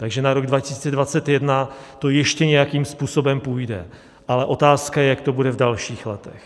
Takže na rok 2021 to ještě nějakým způsobem půjde, ale otázka je, jak to bude v dalších letech.